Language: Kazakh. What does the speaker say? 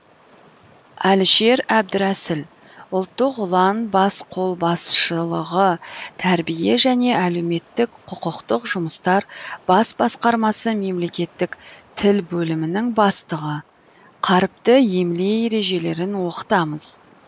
әлішер әбдірәсіл ұлттық ұлан бас қолбасшылығы тәрбие және әлеуметтік құқықтық жұмыстар бас басқармасы мемлекеттік тіл бөлімінің бастығы қаріпті емле ережелерін оқытамыз